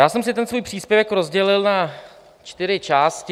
Já jsem si ten svůj příspěvek rozdělil na čtyři části.